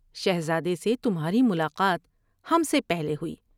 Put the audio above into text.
شہرادے سے تمھاری ملاقات ہم سے پہلے ہوئی ۔